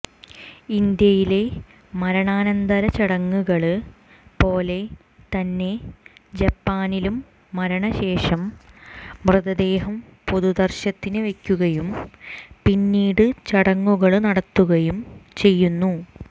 ഇന്ത്യയിലെ മരണാനന്തര ചടങ്ങുകള് പോലെ തന്നെ ജപ്പാനിലും മരണശേഷം മൃതദേഹം പൊതുദര്ശനത്തിന് വെയ്ക്കുകയും പിന്നീട് ചടങ്ങുകള് നടത്തുകയും ചെയ്യുന്നു